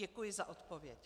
Děkuji za odpověď.